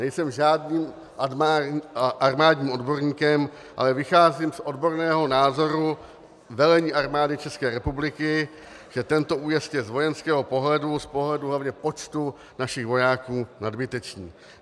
Nejsem žádným armádním odborníkem, ale vycházím z odborného názoru velení Armády České republiky, že tento újezd je z vojenského pohledu, z pohledu hlavně počtu našich vojáků, nadbytečný.